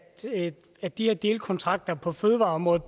at de her delkontrakter på fødevareområdet